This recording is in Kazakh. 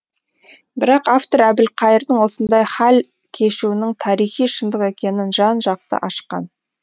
бірақ автор әбілқайырдың осындай хал кешуінің тарихи шындық екенін жан жақты ашқан